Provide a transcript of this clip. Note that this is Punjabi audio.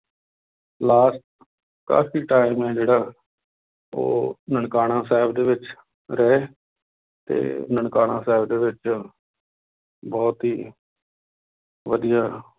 Last ਕਾਫ਼ੀ time ਹੈ ਜਿਹੜਾ ਉਹ ਨਨਕਾਣਾ ਸਾਹਿਬ ਦੇ ਵਿੱਚ ਰਹੇ, ਤੇ ਨਨਕਾਣਾ ਸਾਹਿਬ ਦੇ ਵਿੱਚ ਬਹੁਤ ਹੀ ਵਧੀਆ